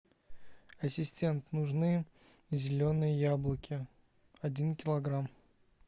ассистент нужны зеленые яблоки один килограмм